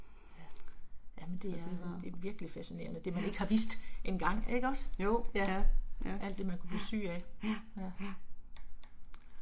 Jamen det er det er virkelig fascinerende det man ikke har vidst engang ikke også? Ja, alt det man kunne blive syg af, ja, ja